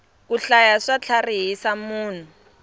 ku hlaya swa tlharihisa munhu